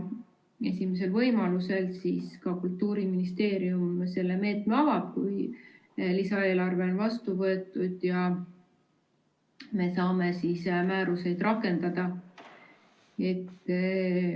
Esimesel võimalusel Kultuuriministeerium selle meetme ka avab, kui lisaeelarve on vastu võetud ja me saame määruseid rakendada.